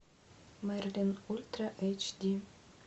мерлин ультра эйч ди